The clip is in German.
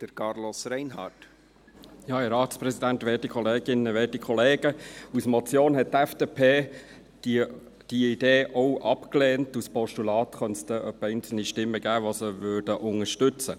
Als Motion hätte die FDP diese Idee auch abgelehnt, für das Postulat könnte es etwa einzelne Stimmen geben, die es unterstützen.